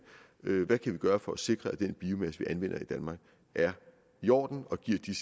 hvad kan vi gøre for at sikre at den biomasse vi anvender i danmark er i orden og giver de